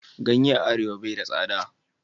Ganye a arewa bai da sada.